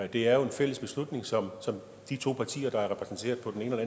det er jo en fælles beslutning som de to partier der er repræsenteret på den ene og